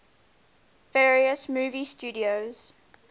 various movie studios